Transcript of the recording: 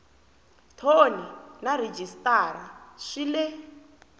thoni na rhejisitara swi le